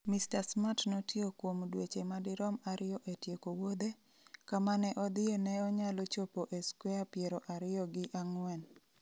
Mr Smart notiyo kuom dweche madirom ariyo e tieko wuodhe, kama ne odhie ne nyalo chopo e skwea piero ariyo gi ang’wen.